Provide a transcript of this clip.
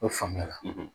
O faamuya la